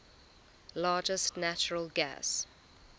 largest natural gas